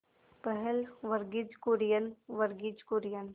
पहल वर्गीज कुरियन वर्गीज कुरियन